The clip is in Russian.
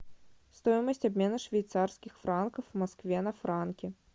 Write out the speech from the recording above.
стоимость обмена швейцарских франков в москве на франки